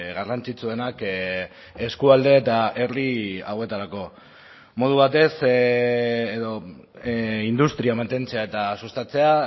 garrantzitsuenak eskualde eta herri hauetarako modu batez edo industria mantentzea eta sustatzea